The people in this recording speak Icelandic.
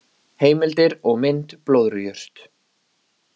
Heimildir og mynd Blöðrujurt.